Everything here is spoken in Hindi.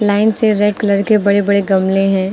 लाइन से रेड कलर के बड़े बड़े गमले है।